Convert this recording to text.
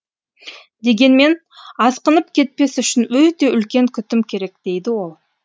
дегенмен асқынып кетпес үшін өте үлкен күтім керек дейді ол